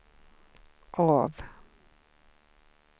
av